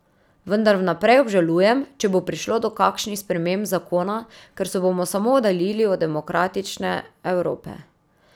Vendar vnaprej obžalujem, če bo prišlo do kakšnih sprememb zakona, ker se bomo samo oddaljili od demokratične Evrope.